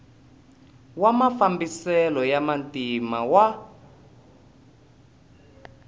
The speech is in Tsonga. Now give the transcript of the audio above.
wa mafambiselo ya vantima wa